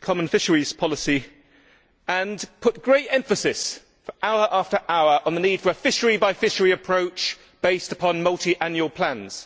common fisheries policy and put great emphasis, for hour after hour, on the need for a fishery by fishery approach based upon multiannual plans.